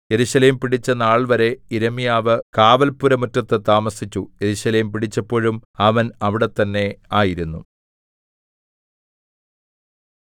യെരൂശലേം പിടിച്ച നാൾവരെ യിരെമ്യാവ് കാവൽപ്പുരമുറ്റത്തു താമസിച്ചു യെരൂശലേം പിടിച്ചപ്പോഴും അവൻ അവിടെത്തന്നെ ആയിരുന്നു